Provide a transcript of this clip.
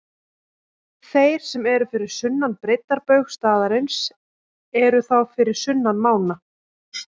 Þeir sem eru fyrir sunnan breiddarbaug staðarins eru þá fyrir sunnan mána.